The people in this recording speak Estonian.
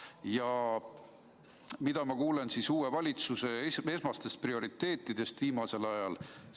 Ja mida ma kuulen uue valitsuse esmastest prioriteetidest viimasel ajal?